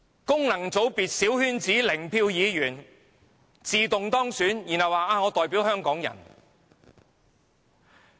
功能界別小圈子零票議員自動當選，然後說自己代表香港人。